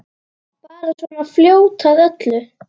Bara svona fljót að öllu.